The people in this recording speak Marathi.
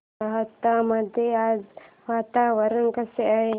राहता मध्ये आज वातावरण कसे आहे